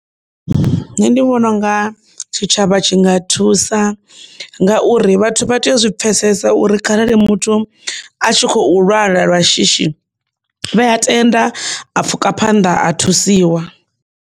Nṋe ndi vhona unga tshitshavha tshi nga thusa ngauri vhathu vha tea u zwi pfesesa uri kharali muthu a tshi khou lwala lwa shishi vhe a tenda a pfhuka phanḓa a thusiwa.